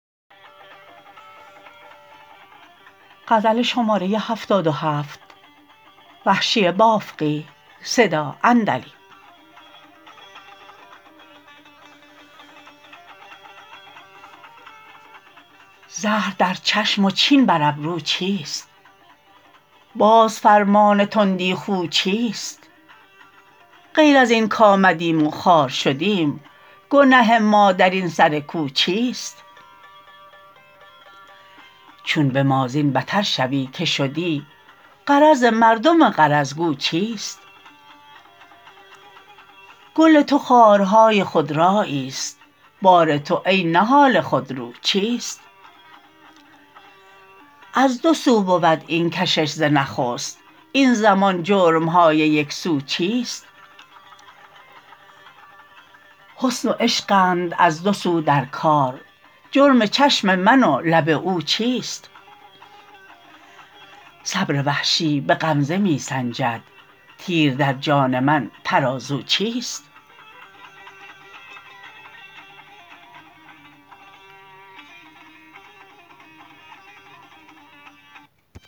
زهر در چشم و چین بر ابرو چیست باز فرمان تندی خو چیست غیر ازین کآمدیم و خوار شدیم گنه ما درین سر کو چیست چون به ما زین بتر شوی که شدی غرض مردم غرض گو چیست گل تو خارهای خود راییست بار تو ای نهال خودرو چیست از دو سو بود این کشش ز نخست این زمان جرمهای یکسو چیست حسن و عشقند از دو سو در کار جرم چشم من و لب او چیست صبر وحشی به غمزه می سنجد تیر در جان من ترازو چیست